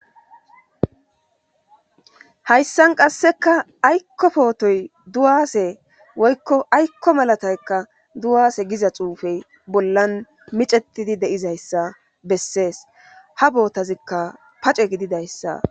Hayssan qasseka aykko pootoy duwaase woykko aykko malataykka duwaase giza xuufey bollan micetidi deizayssa bessees ha bootazikka pace gididayssa.